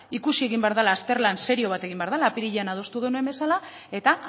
ikusi egin behar dala azterlan serio bat egin behar dala apirilean adostu genuen bezala eta